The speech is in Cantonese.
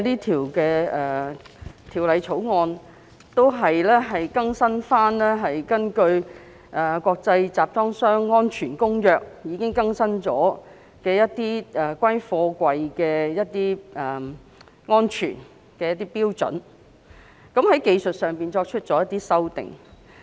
《條例草案》的主要目的，是針對《國際集裝箱安全公約》已更新的貨櫃安全標準，作出技術性修訂。